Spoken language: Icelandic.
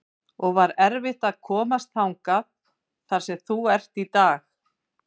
og var erfitt að komast þangað þar sem þú ert í dag?